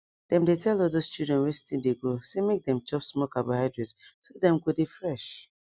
dem dey tell all thosse children wen still de grow say make dem chop small carbohydrate so dem go dey fresh